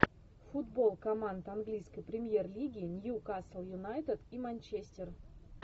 футбол команд английской премьер лиги ньюкасл юнайтед и манчестер